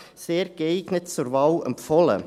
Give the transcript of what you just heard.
– Sehr geeignet, zur Wahl empfohlen.